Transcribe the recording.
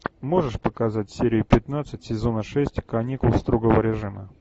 можешь показать серию пятнадцать сезона шесть каникул строгого режима